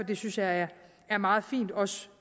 det synes jeg er meget fint også